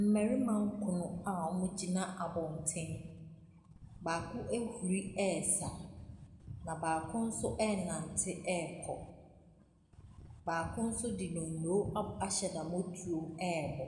Mmarima nkron a wɔgyina abɔntene. Baako ahuri resa, na baako nso renante rekɔ. Baako nso de donno ab ahyɛ n'amɔtoam rebɔ.